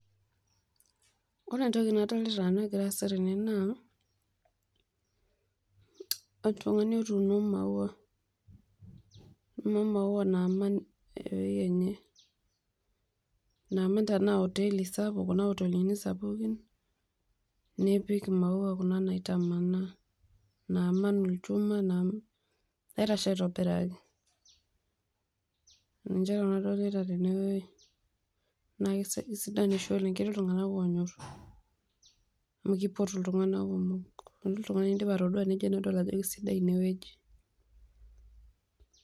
Ore entoki nadolita egira aasa tene naa, oltung'ani otuuno maua, kuna maua naaman eweji enye. Naaman tena hoteli sapuk kuna kotelini sapukin, nipiik imaua kuna naitamana, naaman ilchuman, naitashe aitibiraki. Ninche nanu adolita teneweji. Naa kisidan oshi oleng amuu keeti iltung'ana oonyor amu kipotu iltungana kumok. Keeti iltung'anu loidim atadua nedol ajo kisidai ineweji.